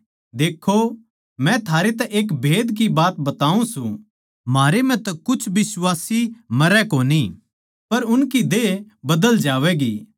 देक्खो मै थारै तै एक भेद की बात बताऊँ सूं म्हारे म्ह तै कुछ बिश्वासी मरै कोनी पर उनकी देह बदल जावैगी